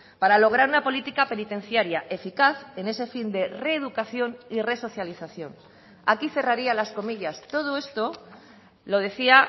para lograr una política penitenciaria eficaz en ese fin de reeducación y resocialización aquí cerraría las comillas todo esto lo decía